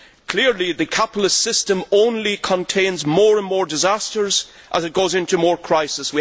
Clearly, the capitalist system only contains more and more disasters as it goes into deeper crisis.